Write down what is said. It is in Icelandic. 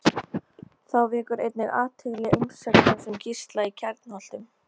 Þá vekur einnig athygli umsögn hans um Gísla í Kjarnholtum.